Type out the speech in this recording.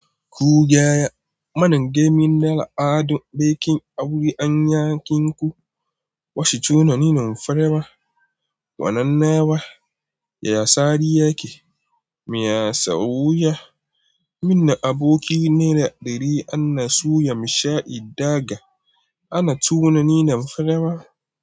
Ku gaya mana game da al'adun bikin aure a yankinku. Wa suce tunanin farawa? Wane nawa ya sari yake? Me ya sauya? Minna, aboki ne na dari, ana so ya msha in daga. Ana tunanin farawa.